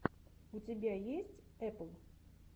у тебя есть эпл